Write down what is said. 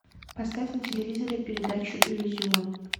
поставь на телевизоре передачу иллюзион